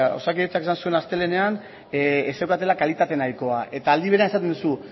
bueno osakidetzak esan zuen astelehenean ez zeukatela kalitate nahikoa eta aldi berean esaten duzu